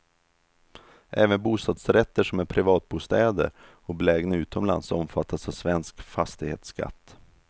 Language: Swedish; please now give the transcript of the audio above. Även bostadsrätter som är privatbostäder och belägna utomlands omfattas av svensk fastighetsskatt.